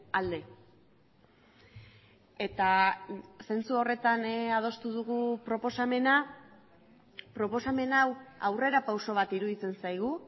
alde eta zentzu horretan adostu dugu proposamena proposamen hau aurrera pauso bat iruditzen zaigu